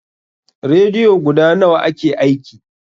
Rediyo guda nawa ke aiki?